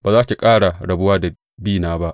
ba za ki ƙara rabuwa da bina ba.